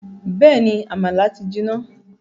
Bẹ́ẹ̀ni, àmàlà ti jiná